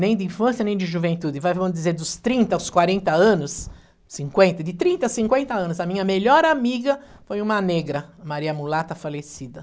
nem de infância, nem de juventude, vai vamos dizer, dos trinta aos quarenta anos, cinquenta, de trinta a cinquenta anos, a minha melhor amiga foi uma negra, Maria Mulata falecida.